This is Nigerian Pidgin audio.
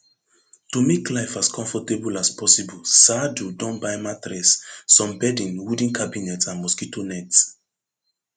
to make life as comfortable as possible saadu don buy mattress some bedding wooden cabinet and mosquito net